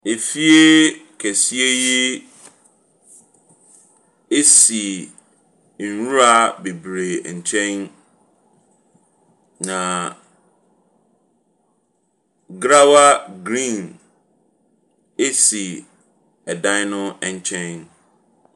Efieeee…kɛseɛ yi si nwura bebree nkyɛn. Na grawa green si ɛdan no nkyɛn.